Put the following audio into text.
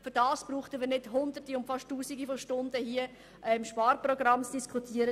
Dafür müssen wir nicht Hunderte oder fast Tausende von Stunden im Grossen Rat über das Sparprogramm diskutieren.